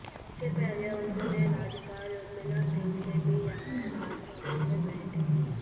इससे पहले उन्होंने राज्यपाल उर्मिला सिंह से भी यहां राजभवन में भेंट की